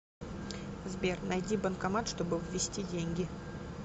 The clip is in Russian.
сбер найти банкомат чтобы ввести деньги